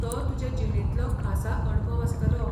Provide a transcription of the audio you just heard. तो तुजे जिणेंतलो खासा अणभव आसतलो.